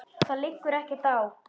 Það liggur ekkert á.